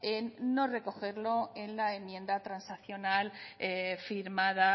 en no recogerlo en la enmienda transaccional firmada